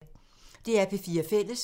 DR P4 Fælles